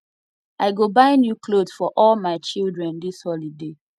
i go buy new clot for all my children dis holiday